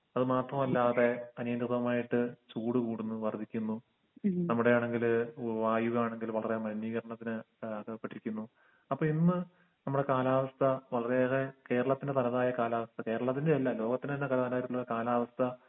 അത് മാപ്പുമല്ലാതെ പനിതുകമായിട്ട് ചൂട് കൂടുന്നു വർദ്ധിക്കുന്നു നമ്മടെയാണെങ്കിൽ വായുങ്കാണെങ്കിലും വളരെ മലിനീകരണത്തിന് ഏഹ് അകപ്പെട്ടിരിക്കുന്നു അപ്പൊ എന്ന് നമ്മളെ കാലാവസ്ഥ വളരെതായ കേരളത്തിന് തലതായ കാലാവസ്ഥ കേരളത്തിന്റെയല്ല ലോകത്തിനന്നെ തലവേദനായിരുന്ന കാലാവസ്ഥ